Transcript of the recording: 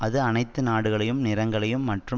அது அனைத்து நாடுகளையும் நிறங்களையும் மற்றும்